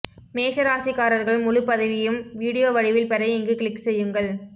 மேஷ ராசிக்காரர்கள் முழுபதிவையும் வீடியோ வடிவில் பெற இங்கு க்ளிக் செய்யுங்கள்